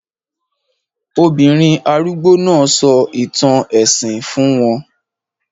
Obìnrin arúgbó náà sọ ìtàn ẹ̀sìn fún wọn